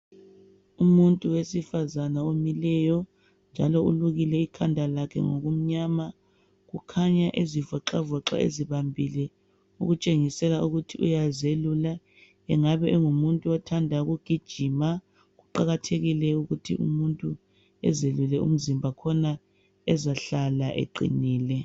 Umuntu wesifazana omileyo njalo ulukile ikhanda lakhe ngokumnyama ukhanya ezivoxavoxa ezibambile okutshengisela ukuthi uyazelula engabe engumuntu othanda ukugijima kuqakathekile ukuthi umuntu ezelule umzimba khona ezahlala eqinile.